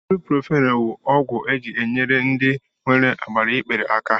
Ibuprofen bụ ọgwụ e ji enyere ndị nwere agbaikpere aka